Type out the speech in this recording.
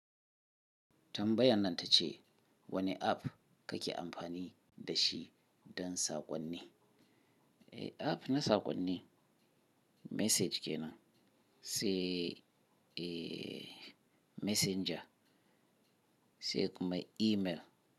Tambayan nan ta ce wane app kake amfani da shi don saƙonni? App na saƙonni message kenan, sai messenger, sai kuma email.